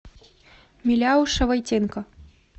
миляуша войтенко